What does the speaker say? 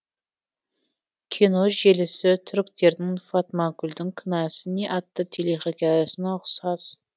кино желісі түріктердің фатмагүлдің кінәсі не атты телехикаясына ұқсас